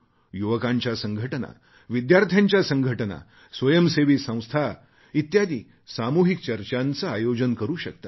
युवकांच्या संघटना विद्यार्थ्यांच्या संघटना स्वयंसेवी संस्था इत्यादी सामूहिक चर्चांचे आयोजन करू शकतात